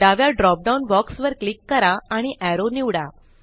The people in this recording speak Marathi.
डाव्या drop डाउन बॉक्स वर क्लिक करा आणि एरो निवडा